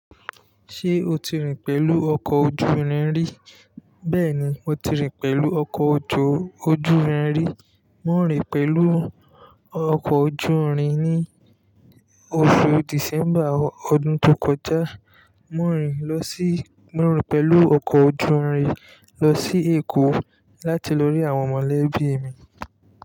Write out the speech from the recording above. Ṣé o ti rìn pẹ̀lú ọkọ̀ ojú irin rí? Bẹ́ẹ̀ni, mo ti rìn pẹ̀lú ọkọ̀ ojú, ojú irin rí. Mo rìn pẹ̀lú ọkọ̀ ojú irin ní oṣù December ọdún tó kọjá. Mo rìn lọ sí, mo rìn pẹ̀lú ọkọ̀ ojú irin lọ sí Èkó láti lórí àwọn mọ̀lẹ́bí mi.